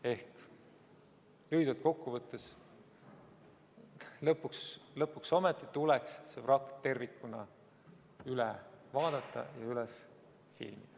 Ehk lühidalt kokku võttes: lõpuks ometi tuleks see vrakk tervikuna üle vaadata ja üles filmida.